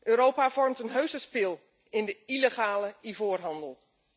Europa vormt een heuse spil in de illegale ivoorhandel.